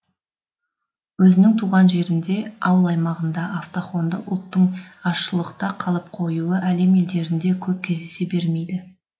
өзінің туған жерінде ауыл аймағында автохонды ұлттың азшылықта қалып қоюы әлем елдерінде көп кездесе бермейді